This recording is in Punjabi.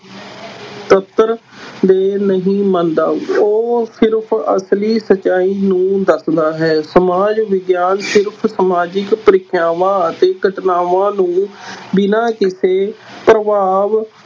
ਦੇ ਨਹੀਂ ਮੰਨਦਾ, ਉਹ ਸਿਰਫ਼ ਅਸਲੀ ਸਚਾਈ ਨੂੰ ਦੱਸਦਾ ਹੈ, ਸਮਾਜ ਵਿਗਿਆਨ ਸਿਰਫ਼ ਸਮਾਜਿਕ ਪ੍ਰਕ੍ਰਿਆਵਾਂ ਅਤੇ ਘਟਨਾਵਾਂ ਨੂੰ ਬਿਨਾਂ ਕਿਸੇ ਪ੍ਰਭਾਵ